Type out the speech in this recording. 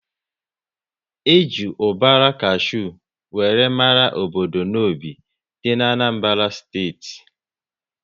E ji ubara kashew wéré mara obodo Nnobi dị n'Anambara steeti